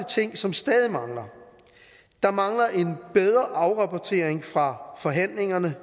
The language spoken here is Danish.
ting som stadig mangler der mangler en bedre afrapportering fra forhandlingerne